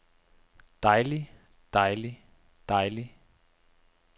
dejlig dejlig dejlig